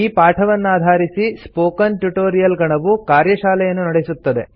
ಈ ಪಾಠವನ್ನಾಧಾರಿಸಿ spoken tutorial ಗಣವು ಕಾರ್ಯಶಾಲೆಯನ್ನು ನಡೆಸುತ್ತದೆ